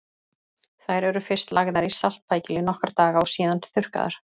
Þær eru fyrst lagðar í saltpækil í nokkra daga og síðan þurrkaðar.